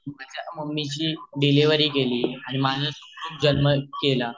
mummy ची delivery केली आणि माझा जन्म केल